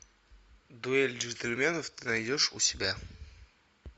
дуэль джентльменов ты найдешь у себя